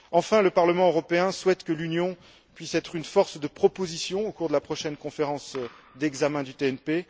Enfin, le Parlement européen souhaite que l'Union puisse être une force de proposition au cours de la prochaine conférence d'examen du TNP.